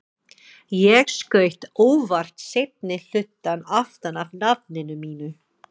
Ég skaut óvart seinni hlutann aftan af nafninu mínu.